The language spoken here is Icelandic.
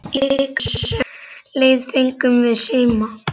Í vikunni sem leið fengum við síma.